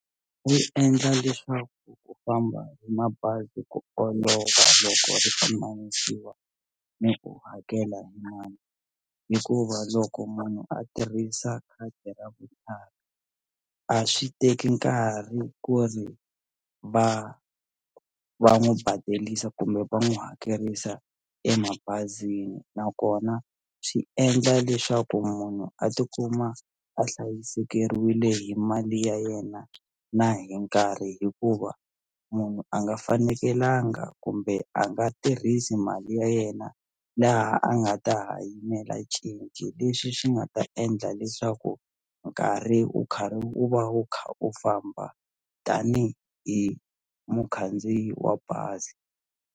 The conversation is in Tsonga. Wu endla leswaku ku famba hi mabazi ku olova loko ri pimanisiwa ni ku hakela hikuva loko munhu a tirhisa khadi ra vutlhari a swi teki nkarhi ku ri va va n'wu badelisa kumbe va n'wu hakelisa emabazini nakona swi endla leswaku munhu a tikuma a hlayisekeriwile hi mali ya yena na hi nkarhi hikuva munhu a nga fanekelanga kumbe a nga tirhisi mali ya yena laha a nga ta hanyela cinci leswi swi nga ta endla leswaku nkarhi wu karhi wu va wu kha u famba tanihi hi mukhandziyi wa bazi.